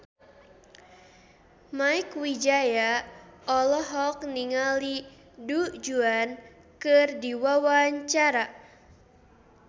Mieke Wijaya olohok ningali Du Juan keur diwawancara